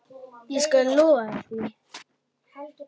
Ég skal lofa þér því.